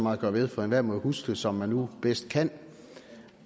meget at gøre ved for enhver må jo huske som man nu bedst kan